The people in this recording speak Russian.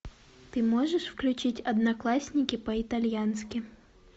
ты можешь включить одноклассники по итальянски